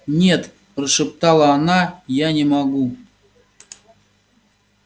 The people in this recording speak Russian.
нет прошептала она я не могу